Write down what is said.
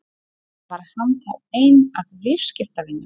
Var hann þá einn af viðskiptavinunum?